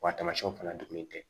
Wa tamasiyɛnw fana tun bɛ kɛ